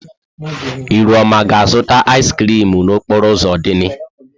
Ihuoma ga-azụta ịz krịm n'okporo ụzọ Odili?